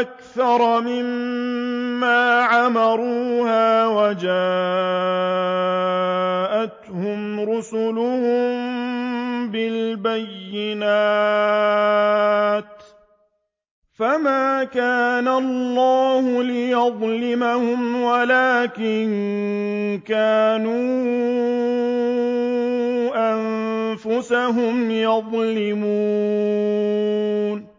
أَكْثَرَ مِمَّا عَمَرُوهَا وَجَاءَتْهُمْ رُسُلُهُم بِالْبَيِّنَاتِ ۖ فَمَا كَانَ اللَّهُ لِيَظْلِمَهُمْ وَلَٰكِن كَانُوا أَنفُسَهُمْ يَظْلِمُونَ